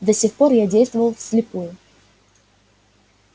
до сих пор я действовал вслепую